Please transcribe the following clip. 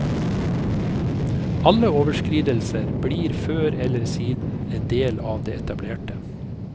Alle overskridelser blir før eller siden en del av det etablerte.